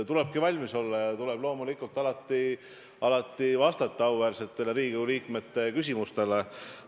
Tulebki valmis olla ja tuleb loomulikult alati vastata auväärsete Riigikogu liikmete küsimustele.